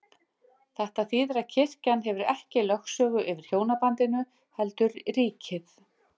Þetta þýðir að kirkjan hefur ekki lögsögu yfir hjónabandinu, heldur ríkið.